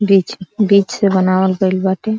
Bridge बीच से बनावल गइल बाटे।